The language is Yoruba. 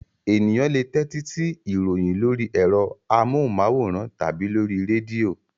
Ènìyàn le tẹ́tí sí ìròyìn lórí ẹ̀rọ amóhùmáwòhán tàbí lórí rédíò.